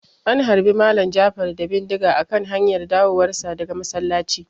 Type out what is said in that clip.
An harbe Malam Jafar da bindiga a kan hanyar dawowar sa daga masallaci